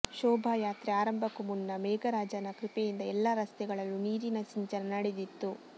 ಶೋಭಾಯಾತ್ರೆ ಆರಂಭಕ್ಕೂ ಮುನ್ನ ಮೇಘರಾಜನ ಕೃಪೆಯಿಂದ ಎಲ್ಲ ರಸ್ತೆ ಗಳಲ್ಲೂ ನೀರಿನ ಸಿಂಚನ ನಡೆದಿತ್ತು